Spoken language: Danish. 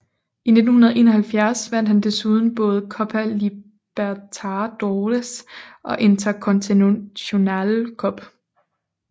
I 1971 vandt han desuden både Copa Libertadores og Intercontinental Cup